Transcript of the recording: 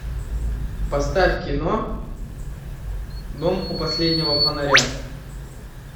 поставь кино дом у последнего фонаря